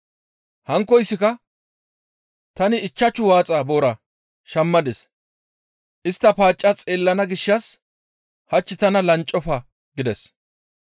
«Hankkoyssika, ‹Tani ichchashu waaxa boora shammadis; istta paacca xeellana gishshas hach tana lanccofa› gides.